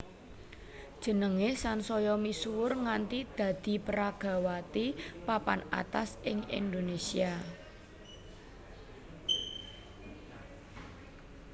Jenengé sansaya misuwur nganti dadi peragawati papan atas ing Indonésia